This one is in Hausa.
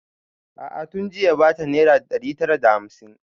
A'a tun jiya ya bata naira ɗari tara da hamsin